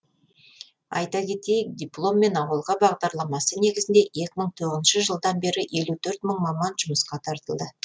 айта кетейік дипломмен ауылға бағдарламасы негізінде екі мың тоғызыншы жылдан бері елу төрт мың маман жұмысқа тартылды